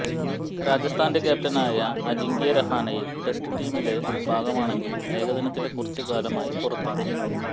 രാജസ്ഥാന്റെ ക്യാപ്റ്റനായ അജിങ്ക്യ രഹാനെ ടെസ്റ്റ് ടീമിന്റെല ഭാഗമാണെങ്കിലും ഏകദിനത്തില് കുറച്ചു കാലമായി പുറത്താണ്